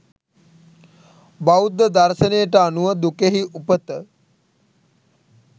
බෞද්ධ දර්ශනයට අනුව දුකෙහි උපත